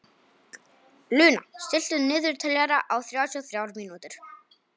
Luna, stilltu niðurteljara á þrjátíu og þrjár mínútur.